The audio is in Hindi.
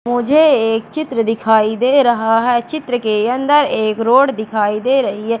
मुझे एक चित्र दिखाई दे रहा है चित्र के अंदर एक रोड दिखाई दे रही है।